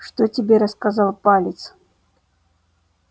что тебе рассказал палец